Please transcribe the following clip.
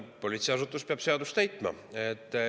Politseiasutus peab seadust täitma.